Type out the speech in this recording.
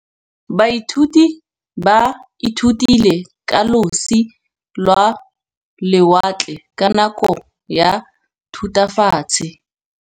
Baithuti ba ithutile ka losi lwa lewatle ka nako ya Thutafatshe.